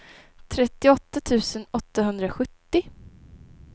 trettioåtta tusen åttahundrasjuttio